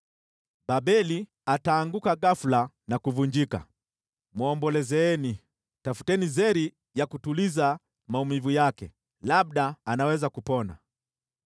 Babeli ataanguka ghafula na kuvunjika. Mwombolezeni! Tafuteni zeri ya kutuliza maumivu yake, labda anaweza kupona.